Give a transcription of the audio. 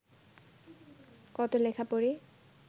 কতো লেখা পড়ি